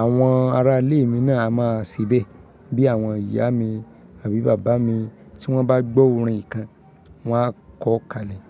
àwọn ará ilé mi náà a má ṣe bẹ́, bí àwọn ìyá mi, àbí bàbá mi, tí wọ́n bá gbọ́ orin kan wá kọ kálẹ̀.